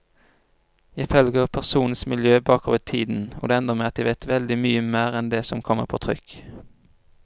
Jeg følger personenes miljø bakover i tiden, det ender med at jeg vet veldig mye mer enn det som kommer på trykk.